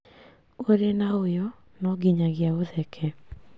ũrĩ na ũyũ no nginyagia ũtheke